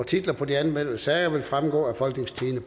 titler på de anmeldte sager vil fremgå af folketingstidende